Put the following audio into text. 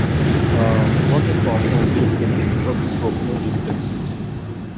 um working from home dey flexible office work no dey flexible